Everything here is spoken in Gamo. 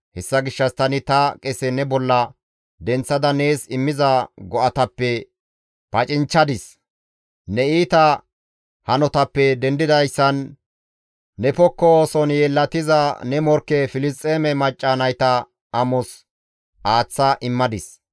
Hessa gishshas tani ta qese ne bolla denththada nees immiza go7atappe pacinchchadis; ne iita hanotappe dendidayssan, ne pokko ooson yeellatiza ne morkke Filisxeeme macca nayta amos aaththa immadis.